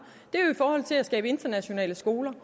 er jo i forhold til at skabe internationale skoler